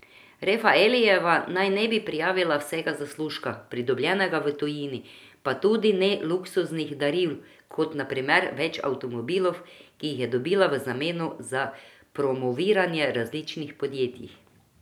Refaelijeva naj ne bi prijavila vsega zaslužka, pridobljenega v tujini, pa tudi ne luksuznih daril, kot na primer več avtomobilov, ki jih je dobila v zameno za promoviranje različnih podjetij.